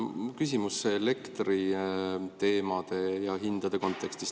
Mul on küsimus elektriteema ja hindade kontekstis.